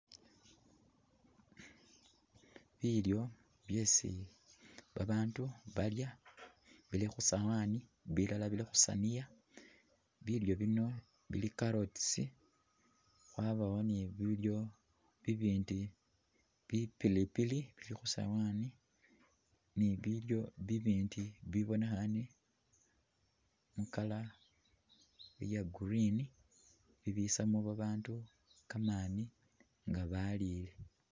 Bilyo byesi babandu balya bili khusowani bilala bili khusaniya ,bilyo bino bili carrots, wabawo ni bilyo bibindi ,bi pilipili bili khusowani ni bilyo bibindi bibonekhane mu colour iye green ,bibisamo babandu kamani nga balile